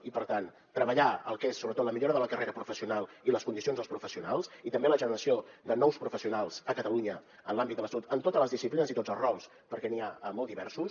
i per tant treballar el que és sobretot la millora de la carrera professional i les condicions dels professionals i també la generació de nous professionals a catalunya en l’àmbit de la salut en totes les disciplines i tots els rols perquè n’hi ha molt diversos